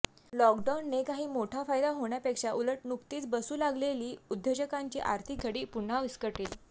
लॉकडाउनने काही मोठा फायदा होण्यापेक्षा उलट नुकतीच बसू लागलेली उद्योजकांची आर्थिक घडी पुन्हा विस्कटेल